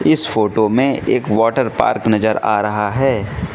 इस फोटो में एक वाटर पार्क नजर आ रहा है।